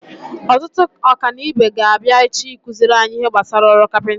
Ọtụtụ ọkanibo ga-abịa echi ịkụziri anyị ihe gbasara ọrụ kapinta.